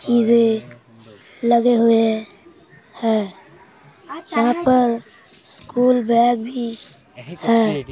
चीजे लगे हुए हैं। यहाँ पर स्कूल बैग भी है ।